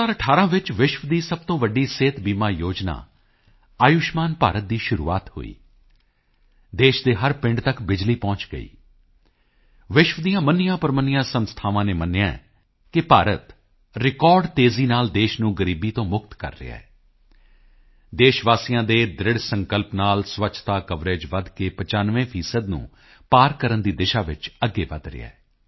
2018 ਵਿੱਚ ਵਿਸ਼ਵ ਦੀ ਸਭ ਤੋਂ ਵੱਡੀ ਸਿਹਤ ਬੀਮਾ ਯੋਜਨਾ ਆਯੁਸ਼ਮਾਨ ਭਾਰਤ ਦੀ ਸ਼ੁਰੂਆਤ ਹੋਈ ਦੇਸ਼ ਦੇ ਹਰ ਪਿੰਡ ਤੱਕ ਬਿਜਲੀ ਪਹੁੰਚ ਗਈ ਵਿਸ਼ਵ ਦੀਆਂ ਮੰਨੀਆਂਪ੍ਰਮੰਨੀਆਂ ਸੰਸਥਾਵਾਂ ਨੇ ਮੰਨਿਆ ਹੈ ਕਿ ਭਾਰਤ ਰਿਕਾਰਡ ਤੇਜ਼ੀ ਨਾਲ ਦੇਸ਼ ਨੂੰ ਗ਼ਰੀਬੀ ਤੋਂ ਮੁਕਤ ਕਰ ਰਿਹਾ ਹੈ ਦੇਸ਼ ਵਾਸੀਆਂ ਦੇ ਦ੍ਰਿੜ੍ਹ ਸੰਕਲਪ ਨਾਲ ਸਵੱਛਤਾ ਕਵਰੇਜ ਵਧ ਕੇ 95 ਨੂੰ ਪਾਰ ਕਰਨ ਦੀ ਦਿਸ਼ਾ ਚ ਅੱਗੇ ਵਧ ਰਿਹਾ ਹੈ